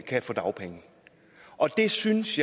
kan få dagpenge jeg synes